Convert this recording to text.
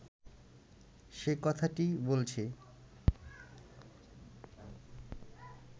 সে কথাটিই বলছি